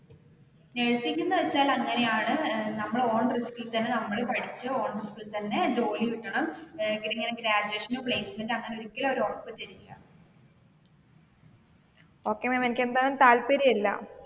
Nursing എന്ന് വെച്ചാല് അങ്ങനെയാണ് നമ്മൾ ഓൺ റിസ്ക് ഇൽ തന്നെ നമ്മൾ പഠിച്ചുഓൺ റിസ്ക് ഇൽ തന്നെ ജോലി കിട്ടണം ഇങ്ങനെ ഗ്രാജുവേഷനോ പ്ലേസ്മെനറ്റോ ഓ അവർ ഒരിക്കലും ഉറപ്പ് തരില്ല.